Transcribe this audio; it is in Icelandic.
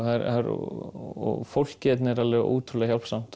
og fólkið hérna ótrúlega